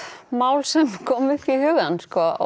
mál sem koma upp í hugann